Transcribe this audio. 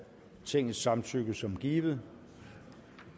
tingets samtykke som givet